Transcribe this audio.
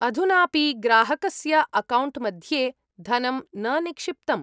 अधुनापि ग्राहकस्य अकौण्ट्मध्ये धनं न निक्षिप्तम्।